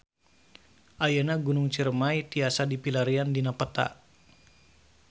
Ayeuna Gunung Ciremay tiasa dipilarian dina peta